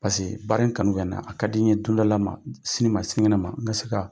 Pase baara in kanu bɛ na, a ka di n ye dondɔla ma, sini ma sini kɛnɛ ma n bɛ se ka